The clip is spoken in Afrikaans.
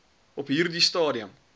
op hierdie stadium